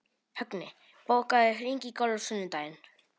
Högni, bókaðu hring í golf á sunnudaginn.